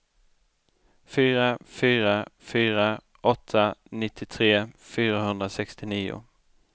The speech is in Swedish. fyra fyra fyra åtta nittiotre fyrahundrasextionio